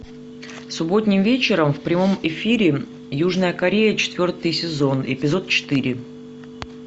субботним вечером в прямом эфире южная корея четвертый сезон эпизод четыре